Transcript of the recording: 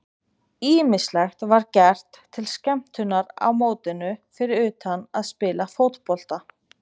Ýmislegt var gert til skemmtunar á mótinu fyrir utan að spila fótbolta.